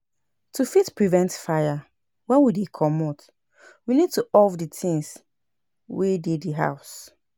To fit prevent fire, when we dey comot, we need to off di things wey dey di house